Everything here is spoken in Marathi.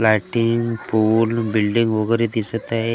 लाईटिंग पूल बिल्डिंग वगेरे दिसत आहे.